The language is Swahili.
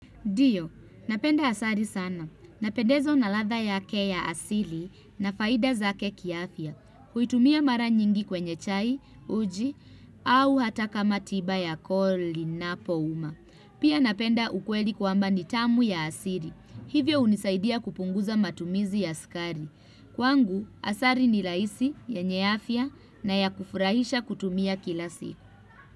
Ndiyo, napenda asali sana. Napendezwa na ladha yake ya asili na faida zake kiafia. Huitumia mara nyingi kwenye chai, uji, au hata kama tiba ya koo linapouma Pia napenda ukweli kwamba nitamu ya asili. Hivyo hunisaidia kupunguza matumizi ya sukari Kwangu, asali ni rahisi yenye afya na ya kufurahisha kutumia kila siku.